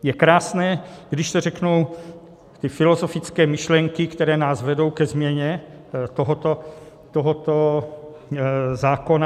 Je krásné, když to řeknu, ty filozofické myšlenky, které nás vedou ke změně tohoto zákona.